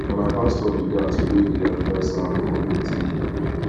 na my pastor be that wey dey advice our community leader